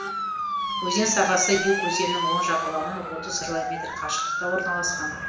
өзен сағасы юг өзенінің оң жағалауынан отыз километр қашықтықта орналасқан